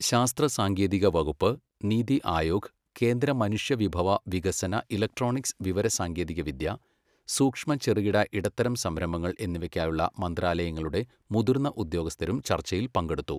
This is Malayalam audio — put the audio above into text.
ശാസ്ത്ര സാങ്കേതികവകുപ്പ്, നീതി ആയോഗ്, കേന്ദ്ര മനുഷ്യവിഭവ വികസന ഇലക്ട്രോണിക്സ് വിവരസാങ്കേതികവിദ്യ സൂക്ഷ്മ ചെറുകിട ഇടത്തരം സംരംഭങ്ങൾ എന്നിവയ്ക്കായുള്ള മന്ത്രാലയങ്ങളുടെ മുതിർന്ന ഉദ്യോഗസ്ഥരും ചർച്ചയിൽ പങ്കെടുത്തു.